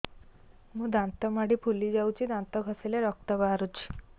ମୋ ଦାନ୍ତ ମାଢି ଫୁଲି ଯାଉଛି ଦାନ୍ତ ଘଷିଲେ ରକ୍ତ ବାହାରୁଛି